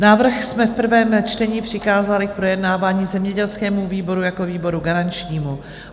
Návrh jsme v prvém čtení přikázali k projednávání zemědělskému výboru jako výboru garančnímu.